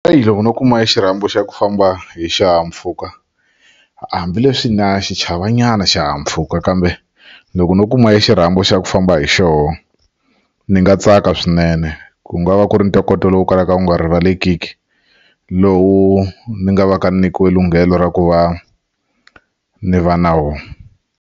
Eya loko no kuma xirhambo xa ku famba hi xihahampfhuka hambileswi na xi chava nyana xihahampfhuka kambe loko no kuma i xirhambo xa ku famba hi xoho ni nga tsaka swinene ku nga va ku ri ni ntokoto lowu kalaka wu nga rivalekiki lowu ni nga va ka nyikiwe lunghelo ra ku va ni va na wona.